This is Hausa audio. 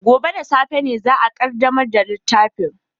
Gobe ​​da safe ne za a kaddamar da littafin